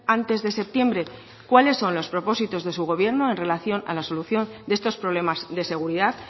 antes de septiembre cuáles son los propósitos de su gobierno en relación a la solución de estos problemas de seguridad